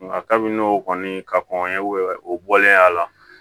Nka kabini n'o kɔni ka kɔn ye o bɔlen ye a la